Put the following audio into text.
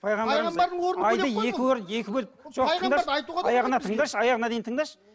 пайғамбарымыз жоқ тыңдашы аяғына тыңдашы аяғына дейін тыңдашы